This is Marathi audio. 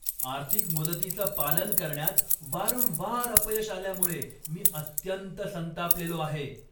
आर्थिक मुदतीचं पालन करण्यात वारंवार अपयश आल्यामुळे मी अत्यंत संतापलेलो आहे.